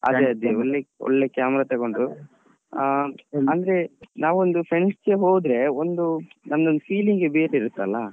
ಅದೆ ಅದೆ ಒಳ್ಳೆ camera ತೊಗೊಂಡು ಆ ಅಂದ್ರೆ ನಾವ್ ಒಂದು friends ಜೊತೆ ಹೋದ್ರೆ ಒಂದು ನಂದೊಂದು feeling ಗೆ ಬೇರೆ ಇರುತ್ತೆ ಅಲ್ಲಾ.